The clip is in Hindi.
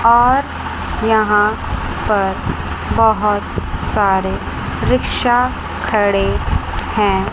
और यहां पर बहोत सारे रिक्शा खड़े हैं।